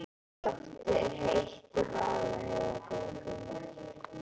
Loftið er heitt í Vaðlaheiðargöngum.